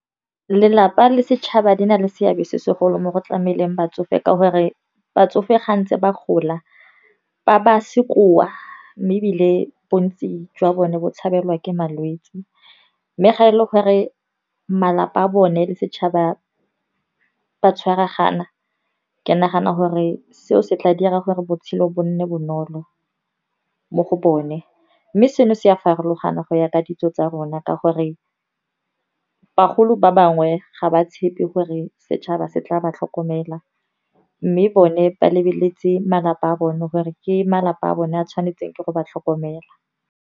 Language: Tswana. Lelapa le setšhaba di na le seabe se segolo mo go tlameleng batsofe ka gore batsofe ga ntse ba gola, ba ba sekoa mme ebile bontsi jwa bone bo tshabela ke malwetse. Mme ga e le gore malapa a bone le setšhaba ba tshwaragana, ke nagana gore seo se tla dira gore botshelo bo nne bonolo mo go bone. Mme seno se a farologana go ya ka ditso tsa rona, ka gore bagolo ba bangwe ga ba tshepe gore setšhaba se tla ba tlhokomela. Mme bone ba lebeletse malapa a bone, gore ke malapa a bone a tshwanetseng ke go ba tlhokomela.